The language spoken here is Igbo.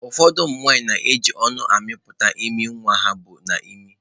Ụfọdụ ụmụ nwanyị na-eji ọnụ ha amịpụta imi nwa ha bu n'imi.